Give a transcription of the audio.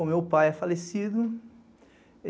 O meu pai é falecido.